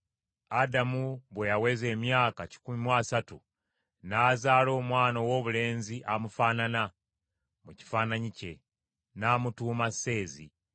Adamu bwe yaweza emyaka kikumi mu asatu, n’azaala omwana owoobulenzi amufaanana, mu kifaananyi kye, n’amutuuma Seezi.